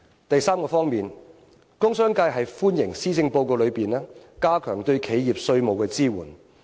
第三方面，工商界歡迎施政報告加強對企業的稅務支援。